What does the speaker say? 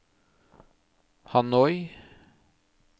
Hanoi